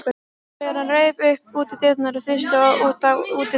Þegar hann reif upp útidyrnar og þusti út á útidyra